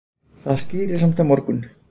Það skýrist samt á morgun.